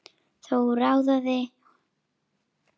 Þá róaðist hún.